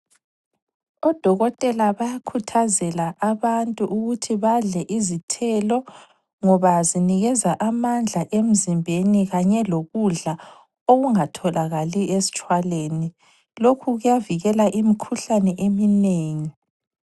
Odokotela bayakhuthazela abantu ukuthi badle izithelo ngoba zinikeza amandla emzimbeni kanye lokudla okungatholakali esitshwaleni. Lokho kuyavikela imikhuhlane eminengi.